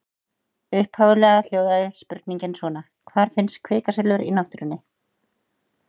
Upphaflega hljóðaði spurningin svona: Hvar finnst kvikasilfur í náttúrunni?